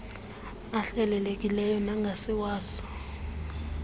ahlelelekileyo nangasiwa so